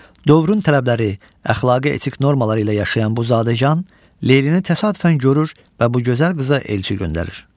Dövrün tələbləri, əxlaqi-etik normaları ilə yaşayan bu zadəgan Leylini təsadüfən görür və bu gözəl qıza elçi göndərir.